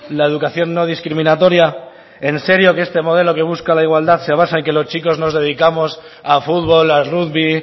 la educación no discriminatoria en serio que este modelo que busca la igualdad se basa en que los chicos nos dedicamos a futbol a rugby